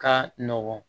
Ka nɔgɔn